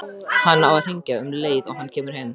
Hann á að hringja um leið og hann kemur heim.